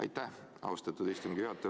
Aitäh, austatud istungi juhataja!